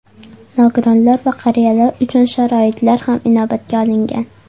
Nogironlar va qariyalar uchun sharoitlar ham inobatga olingan.